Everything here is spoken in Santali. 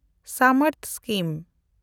ᱥᱟᱢᱮᱱᱰᱛᱷ ᱥᱠᱤᱢ